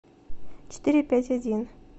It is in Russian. четыре пять один